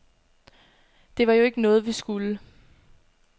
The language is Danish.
Det var jo ikke noget, vi skulle.